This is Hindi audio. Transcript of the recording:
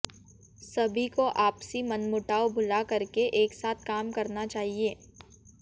सभी को आपसी मनमुटाव भूला करके एक साथ काम करना चाहिए